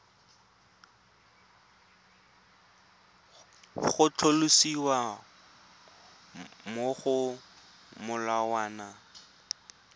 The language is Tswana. go tlhalosiwa mo go molawana